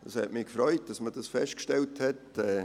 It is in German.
Es hat mich gefreut, dass man dies festgestellt hat.